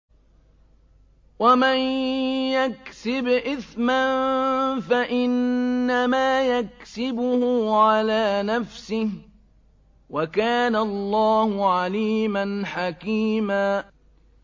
وَمَن يَكْسِبْ إِثْمًا فَإِنَّمَا يَكْسِبُهُ عَلَىٰ نَفْسِهِ ۚ وَكَانَ اللَّهُ عَلِيمًا حَكِيمًا